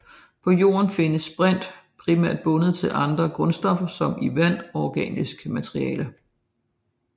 På Jorden findes brint primært bundet til andre grundstoffer som i vand og organisk materiale